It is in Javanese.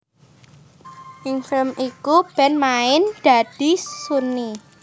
Ing film iku Ben main dadi Sunny